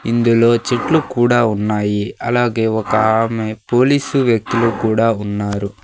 ఇందులో చెట్లు కూడా ఉన్నాయి అలాగే ఒకామె పోలీసు వ్యక్తులు కూడా ఉన్నారు.